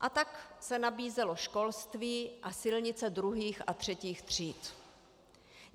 A tak se nabízelo školství a silnice druhých a třetích tříd.